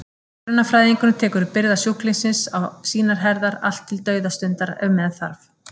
Hjúkrunarfræðingurinn tekur byrðar sjúklingsins á sínar herðar, allt til dauðastundar ef með þarf.